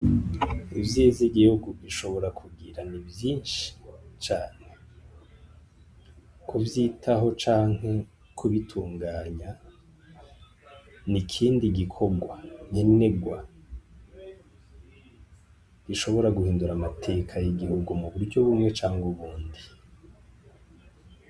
Ivyiza igihugu gishobora kugira ni vyinshi cane, kuvyitaho canke kubitunganya ni ikindi gikorwa nkenegwa gishobora guhindura amateka y'igihugu mu buryo bumwe canke ubundi.